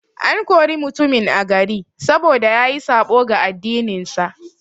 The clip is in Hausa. An kore mutumin a gari, saboda yayi saɓo ga addinin sa.